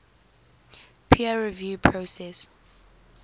peer review process